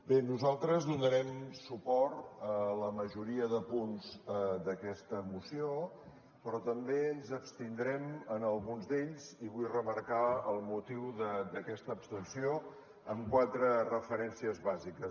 bé nosaltres donarem suport a la majoria de punts d’aquesta moció però també ens abstindrem en alguns d’ells i vull remarcar el motiu d’aquesta abstenció amb quatre referències bàsiques